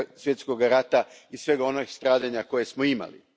svjetskog rata i svega onog stradanja kojeg smo imali.